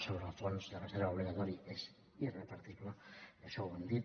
sobre el fons de reserva obligatori és irrepartible això ho hem dit